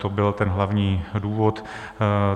To byl ten hlavní důvod.